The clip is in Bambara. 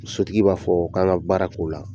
Sotigi b'a fɔɔ kan ŋa baara k'o la.